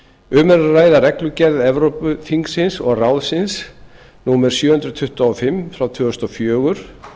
um er að ræða reglugerð evrópuþingsins og ráðsins númer sjö hundruð tuttugu og fimm tvö þúsund og fjögur